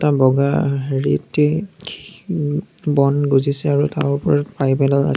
বগা হেৰিতেই ওম বন গজিছে আৰু তাৰ ওপৰত পাইপ এডাল আছ--